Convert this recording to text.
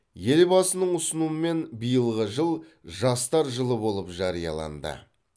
елбасының ұсынуымен биылғы жыл жастар жылы болып жарияланды